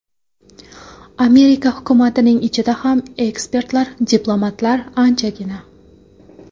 Amerika hukumatining ichida ham ekspertlar, diplomatlar anchagina.